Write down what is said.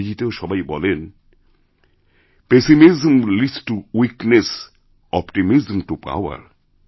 ইংরেজিতেও সবাই বলেন pessimism leads to weakness optimism to power